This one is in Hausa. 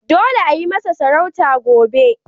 Dole ayi masa sarauta gobe!